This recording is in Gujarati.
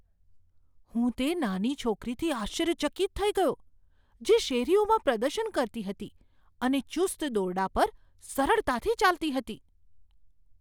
હું તે નાની છોકરીથી આશ્ચર્યચકિત થઈ ગયો જે શેરીઓમાં પ્રદર્શન કરતી હતી અને ચુસ્ત દોરડા પર સરળતાથી ચાલતી હતી.